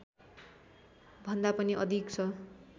भन्दा पनि अधिक छ